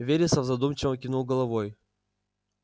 вересов задумчиво кивнул головой